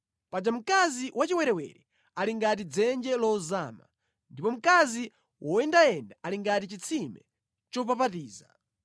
Paja mkazi wachiwerewere ali ngati dzenje lozama; ndipo mkazi woyendayenda ali ngati chitsime chopapatiza.